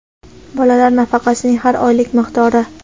bolalar nafaqasining har oylik miqdori:.